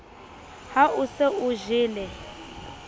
ha o se o jele